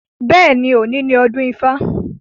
Bẹ́ẹ̀ni, òní ni ọdún ifá.